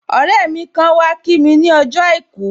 Ọrẹ mi kan wá kí mi ni ọjọ́ àìkú